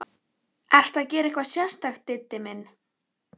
Ertu að gera eitthvað sérstakt, Diddi minn.